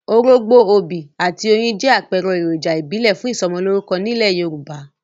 Orógbó, obì, àti oyin jẹ́ àpẹẹrẹ èròjà ìbílẹ̀ fún ìsọmọlórúkọ nílẹ̀ Yorùbá.